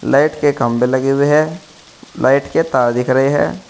Light के खंभे लगे हुए हैं लाइट के तार दिख रहे हैं।